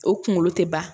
O kunkolo tɛ ban